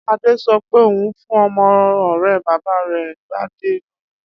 Adé so̩ pé òun fún o̩mo̩ ò̩ré̩ bàbá rè̩ Gbadé lóyún